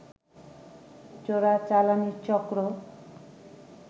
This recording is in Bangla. চোরাচালানি চক্র